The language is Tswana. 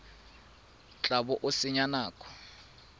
tla bo o senya nako